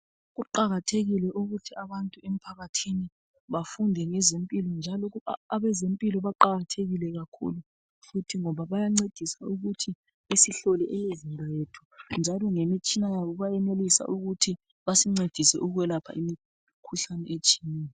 Kuqakathekile ukuthi abantu emphakathini bafunde ngezempilo njalo abezempilo baqakathekile kakhulu futhi ngoba bayancedisa ukuthi basihlole imizimba yethu. Njalo ngemitshina bayenelisa ukuthi basincedise imikhuhlane etshiyeneyo.